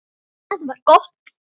Það var gott.